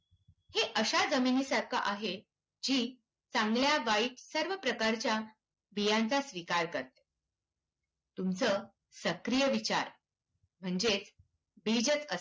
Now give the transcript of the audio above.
हे अशा जमिनीसारखं आहे, जी चांगल्या वाईट सर्व प्रकारच्या बियांचा स्वीकार करते. तुमचं सक्रिय विचार म्हणजेच बीजच असते.